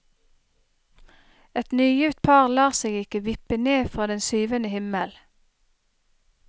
Et nygift par lar seg ikke vippe ned fra den syvende himmel.